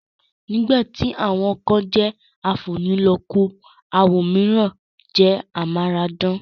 Nígbà tí àwọn kan jẹ́ afúnilọ́kun, àwọn òmíràn jẹ́ amáradán